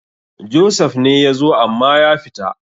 Joseph ne ya zo amma ya fita